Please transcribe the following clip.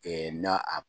na a